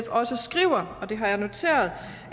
også skriver og det har jeg noteret